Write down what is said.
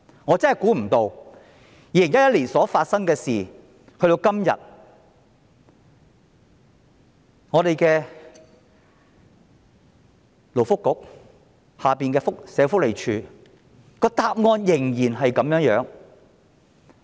我真的估不到，這事在2011年發生，但及至今日，勞工及福利局轄下的社會福利署的答案仍是一樣。